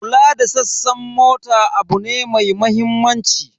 Kula da sassan mota abu ne mai mahimmanci.